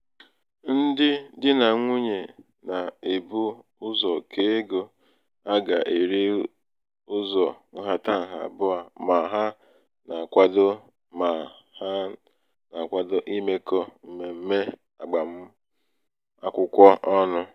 ndị di nà nwunyè um nà-èbu ụzọ̀ kèe ego a gà-èri ụzọ̄ ǹhàtaǹhà àbụ̀ọ mà ha na-àkwado mà ha na-àkwado imēkọ̄ m̀mèm̀me àgbàm akwụkwọ ọnụ̄.